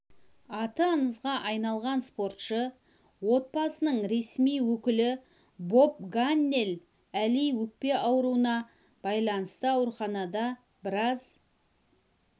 аты аңызға айналған спортшы отбасының ресми өкілі боб ганнел әли өкпе ауруына байланысты ауруханада біраз